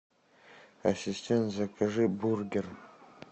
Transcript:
ассистент закажи бургер